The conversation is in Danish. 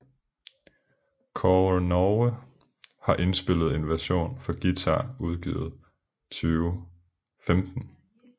Kaare Norge har indspillet en version for guitar udgivet 2015